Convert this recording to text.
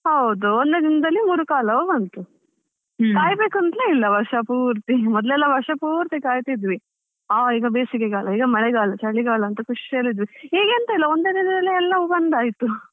ಹೌದು, ಒಂದು ದಿನದಲ್ಲಿ ಮೂರೂ ಕಾಲವು ಬಂತು. ಇಲ್ಲ ವರ್ಷ ಪೂರ್ತಿ, ಮೊದ್ಲೆಲ್ಲಾ ವರ್ಷ ಪೂರ್ತಿ ಕಾಯ್ತಿದ್ವಿ. ಆ ಈಗ ಬೇಸಿಗೆಗಾಲ ಈಗ ಮಳೆಗಾಲ ಚಳಿಗಾಲ ಅಂತ ಖುಷಿ ಅಲ್ಲಿ ಇದ್ವಿ, ಈಗ ಎಂತ ಇಲ್ಲ ಒಂದೇ ದಿನದಲ್ಲಿ ಎಲ್ಲವು ಬಂದಾಯ್ತು.